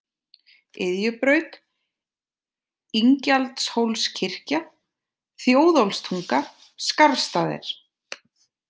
Iðjubraut, Ingjaldshólskirkja, Þjóðólfstunga, Skarfsstaðir